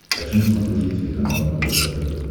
хочу на смотрешке телеканал рбк тв